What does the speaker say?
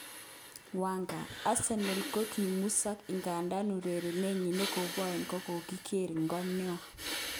Wenger: Arsenal kokimusok igandan urerenet nyin nekobo oin kokokiger ngog noa.